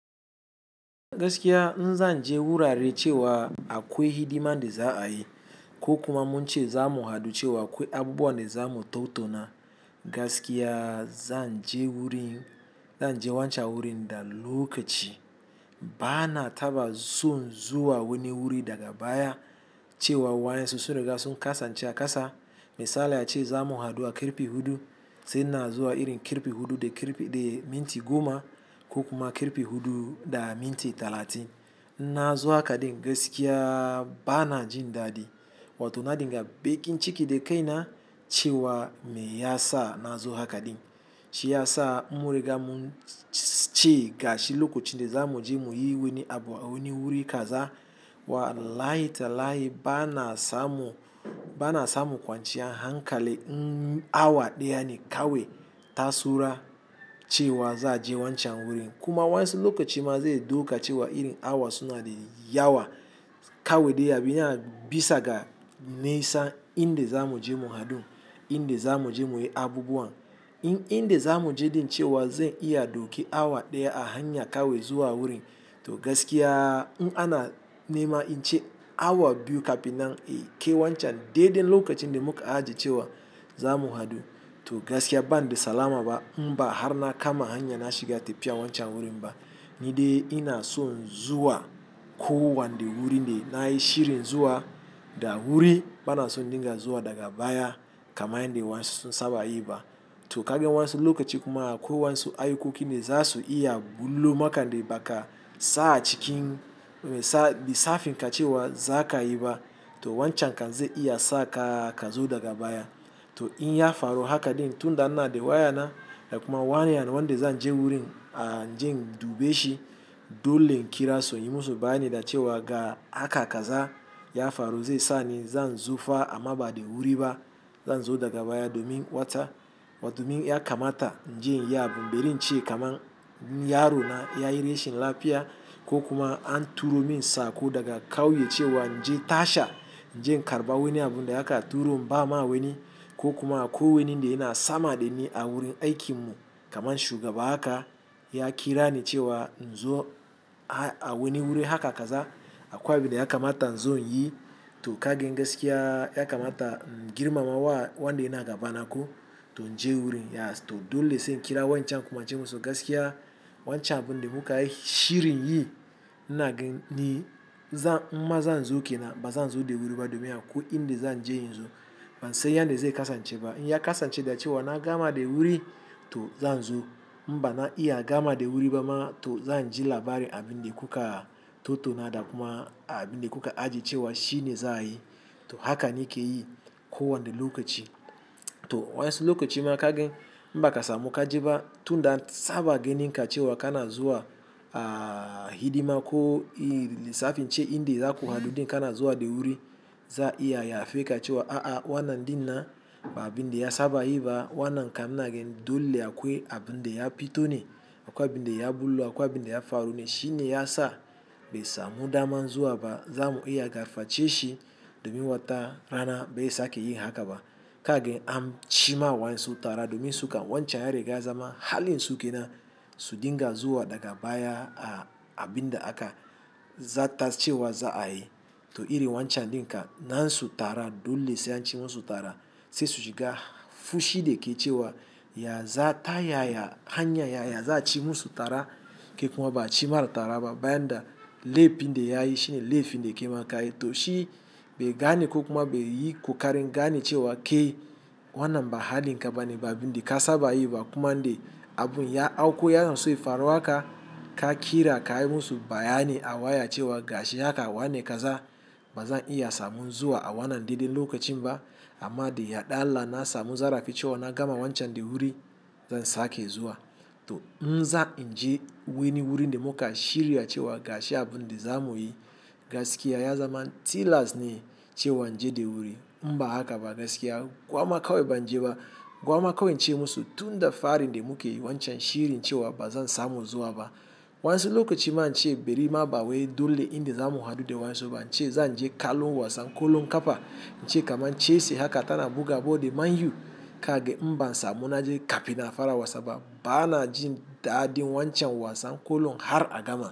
Gaskiya, in zan je wurare cewa akwai hidima da za a yi, ko kuma mun ce za mu haɗu cewa akwai abubuwa da za mu tattauna. Gaskiya zan je wancan wurin da lokaci. Ba na taba son zuwa wani wuri daga baya, cewa waya sosai da ga sun kasa ciyasa. Misali ace za mu haɗu a kirfe hudu, sai na zo a irin kirfe hudu da minti goma ko kuma kirfe hudu da minti talatin. Na zo haka din gaskiya ba na jin daɗi. Wato na dinga bakin ciki da kai na cewa me ya sa na zo haka din? Shi ya sa muri ga mun ci gashi lokacin da za mu je mu yi wani abu a wani wuri kaza. Wallahi tallahi ba na samu kwanciya hankali. Awa ɗaya ne kawai ta saura cewa za a je wancan wurin. Kuma waya sosai lokacin ma zai dauka cewa irin awa suna da yawa. Kawai dai abin da ya bisa ga nesa inda za mu je mu haɗu, inda za mu je mu yi abubuwan, inda za mu je din cewa zai iya dauki awa ɗaya a hanya kawai zuwa wurin. To gaskiya, in ana nema in ce awa biyu kafin nan a yi ke wancan dai dai lokacin da muka ajiye cewa za mu haɗu. To gaskiya ba na da salama ba. Mba har na kama hanya na shiga tafiya wancan wurin ba, ni dai ina son zuwa ko wanda wuri dai na yi shirin zuwa da wuri. Ba na so dinga zuwa daga baya kamar yanda waya sun saba yi ba. To kaga wasu sosai lokacin kuma akwai waya sosai ayukoki da za su iya bullo maka dai haka. Sa a cikin lisafin ka cewa za ka yi ba, to wancan kan zai iya sa ka kazo daga baya. To in ya faru haka din, tunda an na da waya na, kuma wani yanzu wanda zan je wurin in je in dube shi dole in kira su inyi musu bayani da cewa ga haka kaza ya faru zai sa ni zan zo fa a ma bada wuri ba. Zan zo daga baya domin wata, wato min ya kamata in je yab mu, bari in ce kaman yaro na ya yi rashin lafiya ko kuma an turo min sako daga kauye cewa in je tasha in je in karɓa wani abu da ya ka turo. Mba ma wani ko kuma ko wani dai na sama da ni a wurin aikin mu kaman shugaba haka ya kira ni cewa in zo a wani wuri haka kaza. Akwa dai ya kamata in zo yi. To kage gaskiya ya kamata n girmama wa wanda yana gaba na ko to in je wurin. To dole sai in kira wancan kuma ce musu gaskiya wancan abun da muka yi shirin yi na ga ni maza zan zo ke na ba zan zo da wuri ba domin akwai inda zan je in zo. Ban san yanda zai kasance ba. In ya kasance da cewa na gama da wuri to zan zo. Mba na iya gama da wuri ba ma to zan ji labari abin da kuka tattauna da kuma abin da kuka ajiye cewa shine za a yi. To haka nake yi ko wanna lokaci. To wayan sulokacin ma kage mba ka samu ka je ba tunda saba ganin ka cewa kana zuwa a hidima ko a safan ce inda za ku haɗu dai kana zuwa da wuri. Za iya ya fe ka cewa a'a wannan dinnan ba abin da ya saba yi ba. Wannan kam naga dole akwai abun da ya fito ne, akwai abin da ya bullo, akwai abin da ya faru ne. Shine ya sa bai samu dama zuwa ba. Za mu iya gaface shi domin wata rana bai sake yi haka ba. Kage an ci ma waya sosai tara domin suka wancan ya riga ya zama halin su ke nan. Su dinga zuwa daga baya a abin da aka za tas cewa za a yi. To iri wancan din ka nan su tara dole sai an ci musu tara sai su shiga fushi da ke cewa ya za ta yaya hanya yaya za a ci musu tara ke kuma ba a ci maratara ba. Bayan da laifi dai yayi shine laifi dai ke maka. To shi bai gane ko kuma bai yi ƙoƙarin gane cewa ke wannan ba hali ka bane ba abin da ka saba yi ba kuma dai abun ya auko. Yana so ya faro haka ka kira ka yi musu bayani a waya cewa gashi haka wane kaza ba zan iya samun zuwa a wannan dai dai lokacin ba. Amma dai yaɗalla na samu zarafi cewa na gama wancan dai wuri zan sake zuwa. To in za in je wani wuri dai muka shirya cewa gashi abun dai za mu yi. Gaskiya ya zama tilas ne cewa in je da wuri. Mba haka ba gaskiya gwamma kawai ban je ba. Gwamma kawai in ce musu tunda fari dai muke wancan shirin cewa ba zan samu zuwa ba. Wayan sosai lokacin ma in ce bari ma ba waye dole inda za mu haɗu dai waya sosai ba in ce zan je ɗalu wasan ƙolon kaɓa in ce kaman cese haka tana buga bode man yu. Kage mba na samu na je kafina fara wasa ba. Ba na jin daɗin wancan wasan ƙolon har a gama.